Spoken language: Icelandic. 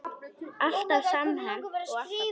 Alltaf samhent og alltaf glöð.